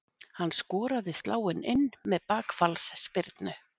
Hann skoraði sláin inn með bakfallsspyrnu.